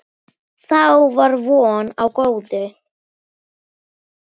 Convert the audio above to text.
Þá var von á góðu.